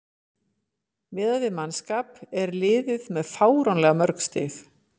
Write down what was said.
Miðað við mannskap er liðið með fáránlega mörg stig.